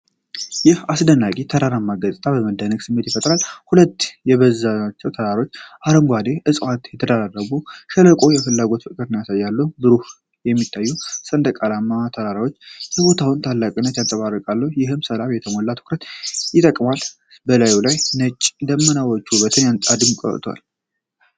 ይህ አስደናቂ ተራራማ ገጽታ የመደነቅን ስሜት ይፈጥራል። ዐለት የበዛባቸው ተዳፋትና አረንጓዴ ዕፅዋት የተደራረቡበት ሸለቆ የፍላጎት ፍቅርን ያሳያሉ። በሩቅ የሚታዩት ሰንሰለታማ ተራሮች የቦታውን ታላቅነት ያንጸባርቃሉ፤ ይህም በሰላም የተሞላ ትኩረትን ይጠይቃል፤ በላዩ ያሉት ነጭ ደመናዎች ውበቱን አድምቀዋል።